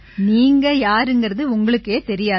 நீங்க யாருங்கறது உங்களுக்கே தெரியாது